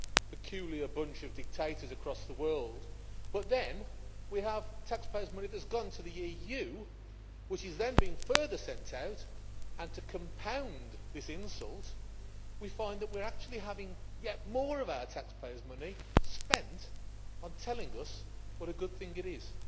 peculiar bunch of dictators across the world, but then we have taxpayers' money that has gone to the EU which is then being further sent out, and to compound this insult, we find that we are actually having yet more of our taxpayers' money spent on telling us what a good thing it is.